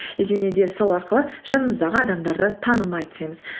және де сол арқылы жанымыздағы адамдарды танымай түсеміз